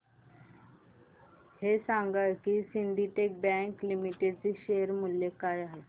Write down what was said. हे सांगा की सिंडीकेट बँक लिमिटेड चे शेअर मूल्य काय आहे